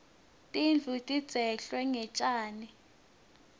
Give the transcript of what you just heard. tindlu tidzeklwe ngetjani